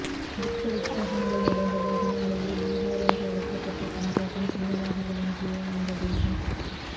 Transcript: புத்த விஹாரங்கள் நிறைந்து அதனாலேயே பிஹார் என்று அழைக்கப்பட்ட பண்பாட்டின் சின்னமாக விளங்கிய அந்த தேசம்